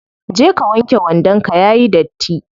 Je ka wanke wandon ka yayi datti.